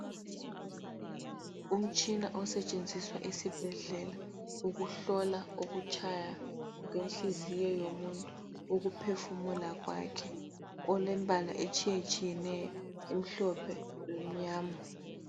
Umtshina osetshenziswa esibhedlela ukuhlola ukutshaya kwenhliziyo yomuntu, ukuphefumula kwakhe. Olembala etshiyetshiyeneyo emhlophe lemnyama.